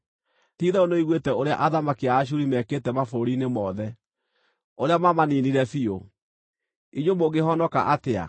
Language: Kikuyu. Ti-itherũ nĩũiguĩte ũrĩa athamaki a Ashuri mekĩte mabũrũri-inĩ mothe, ũrĩa maamaniinire biũ. Inyuĩ mũngĩhonoka atĩa?